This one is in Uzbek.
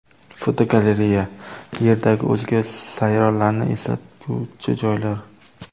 Fotogalereya: Yerdagi o‘zga sayyoralarni eslatuvchi joylar.